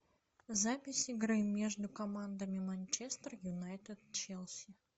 запись игры между командами манчестер юнайтед челси